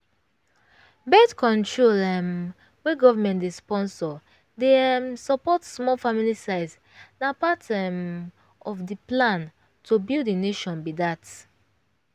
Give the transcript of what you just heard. birth-control um wey government dey sponsor dey um support small family size na part um of the plan to build the nation be dat.